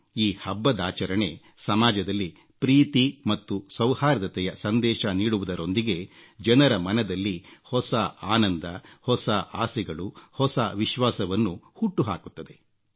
ಈ ಹಬ್ಬದಾಚರಣೆ ಸಮಾಜದಲ್ಲಿ ಪ್ರೀತಿ ಮತ್ತು ಸೌಹಾರ್ದತೆಯ ಸಂದೇಶ ನೀಡುವುದರೊಂದಿಗೆ ಜನರ ಮನದಲ್ಲಿ ಹೊಸ ಆನಂದ ಹೊಸ ಆಸೆಗಳು ಹೊಸ ವಿಶ್ವಾಸವನ್ನು ಹುಟ್ಟುಹಾಕುತ್ತದೆ